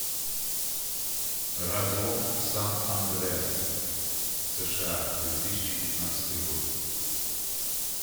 разлом сан андреас сша две тысячи пятнадцатый год